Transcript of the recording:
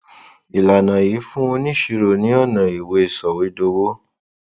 ìlànà yìí fún oníṣirò ní ọnà ìwé sọwédowó